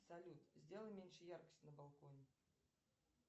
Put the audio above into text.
салют сделай меньше яркость на балконе